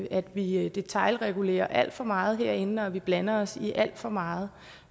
at vi detailregulerer alt for meget herinde og at vi blander os i alt for meget